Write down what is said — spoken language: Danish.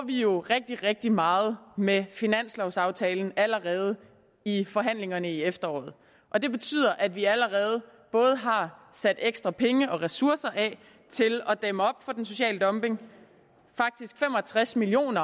vi jo rigtig rigtig meget med finanslovaftalen allerede i forhandlingerne i efteråret og det betyder at vi allerede både har sat ekstra penge og ressourcer af til at dæmme op for den sociale dumping faktisk fem og tres million